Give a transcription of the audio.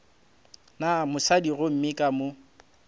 na mosadi gomme ka mo